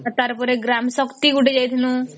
ଆର ତାର ପରେ ଗ୍ରାମ ଶକ୍ତି ଗୋଟେ ଯାଇଥିଲୁ